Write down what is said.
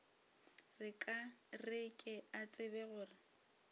re ke a tseba gore